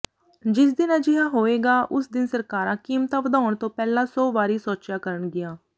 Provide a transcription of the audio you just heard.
ਜਿਸ ਦਿਨ ਅਜਿਹਾ ਹੋਵੇਗਾ ਉਸ ਦਿਨ ਸਰਕਾਰਾਂ ਕੀਮਤਾਂ ਵਧਾਉਣ ਤੋਂ ਪਹਿਲਾਂ ਸੌ ਵਾਰੀ ਸੋਚਿਆ ਕਰਨਗੀਆਂ